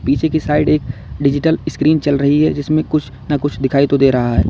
पीछे के साइड एक डिजिटल स्क्रीन चल रही है जिसमें कुछ न कुछ दिखाई दे रहा है।